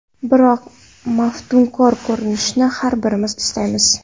Biroq maftunkor ko‘rinishni har birimiz istaymiz.